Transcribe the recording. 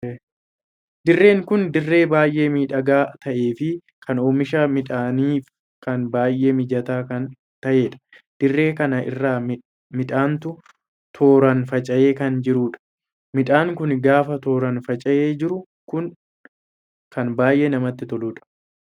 Dirreen kun dirree baay'ee miidhagaa tahee fi kan oomisha midhaaniif kan baay'ee mijataa kan taheedha. dirree kana irraa midhaantu tooraan faca'ee kan jiruudha. midhaan kun gaafa tooraan faca'ee jiru kun kan baay'ee namatti toluudha.